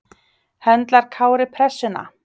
Höndlar Kári pressuna?